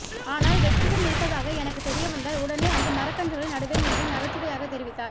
ஆனால் வெற்றிடம் இருப்பதாக எனக்கு தெரிய வந்தால் உடனே அங்கு மரக்கன்றுகளை நடுவேன் என்றும் நகைச்சுவையாக தெரிவித்தார்